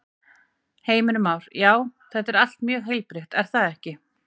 Heimir Már: Já, þetta er allt mjög heilbrigt er það ekki?